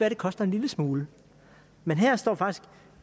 at det koster en lille smule men her står faktisk